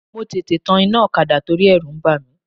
Mo tètè tan iná ọ̀kadà torí ẹ̀rù ń bà mí.